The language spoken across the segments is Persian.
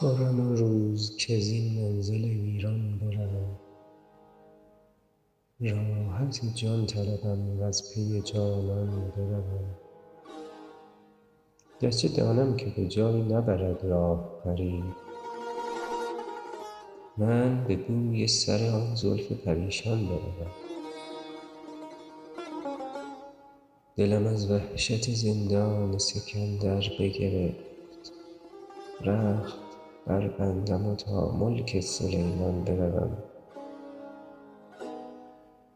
خرم آن روز کز این منزل ویران بروم راحت جان طلبم و از پی جانان بروم گر چه دانم که به جایی نبرد راه غریب من به بوی سر آن زلف پریشان بروم دلم از وحشت زندان سکندر بگرفت رخت بربندم و تا ملک سلیمان بروم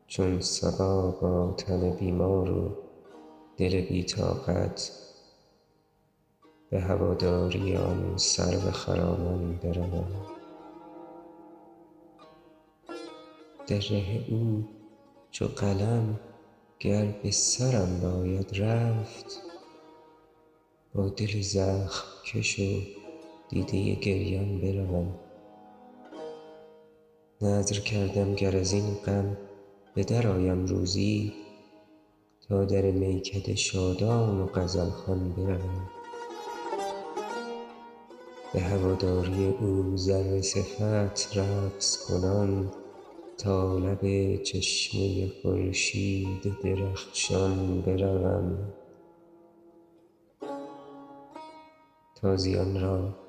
چون صبا با تن بیمار و دل بی طاقت به هواداری آن سرو خرامان بروم در ره او چو قلم گر به سرم باید رفت با دل زخم کش و دیده گریان بروم نذر کردم گر از این غم به درآیم روزی تا در میکده شادان و غزل خوان بروم به هواداری او ذره صفت رقص کنان تا لب چشمه خورشید درخشان بروم تازیان را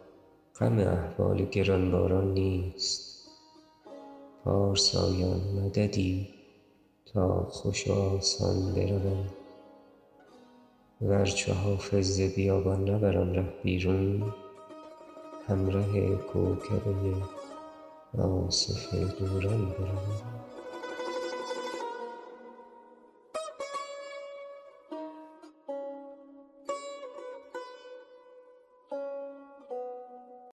غم احوال گران باران نیست پارسایان مددی تا خوش و آسان بروم ور چو حافظ ز بیابان نبرم ره بیرون همره کوکبه آصف دوران بروم